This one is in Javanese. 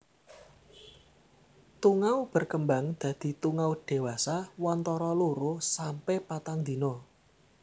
Tungau berkembang dadi tungau dewasa wantara loro sampe patang dina